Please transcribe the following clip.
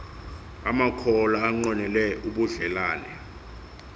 amakholwa anqwenele ubudlelane